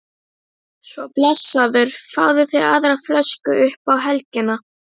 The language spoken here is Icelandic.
Svo blessaður fáðu þér aðra flösku upp á helgina